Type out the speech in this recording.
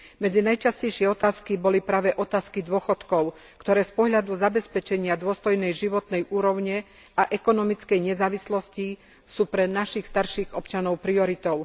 Medzi najčastejšie otázky boli práve otázky dôchodkov, ktoré z pohľadu zabezpečenia dôstojnej životnej úrovne a ekonomickej nezávislosti sú pre našich starších občanov prioritou.